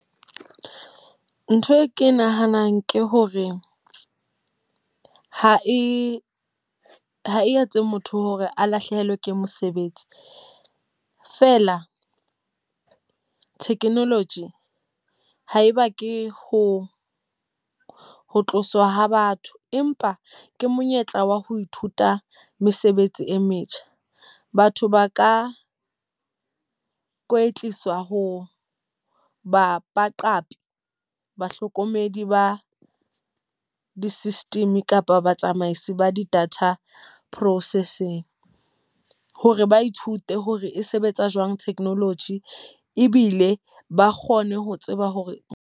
Ntho e ke nahanang ke hore ha e ha e etse motho hore a lahlehelwe ke mosebetsi. Fela technology hae ba ke ho ho tloswa ha batho. Empa ke monyetla wa ho ithuta mesebetsi e metjha. Batho ba ka kwetliswa ho bapala qapi, bahlokomedi ba di-system kapa batsamaisi ba di-data process-eng hore ba ithute hore e sebetsa jwang technology ebile ba kgone ho tseba hore.